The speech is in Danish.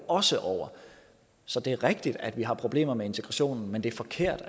også over så det er rigtigt at vi har problemer med integrationen men det er forkert